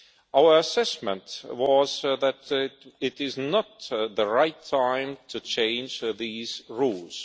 Our assessment was that it is not the right time to change these rules.